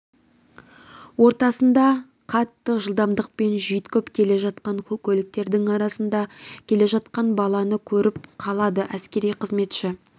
ортасында қатты жылдамдықпен жүйткіп келе жатқан көліктердің арасында келе жатқан баланы көріп қалады әскери қызметші